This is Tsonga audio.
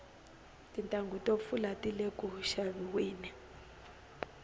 tintanghu to pfula tile ku xaviweni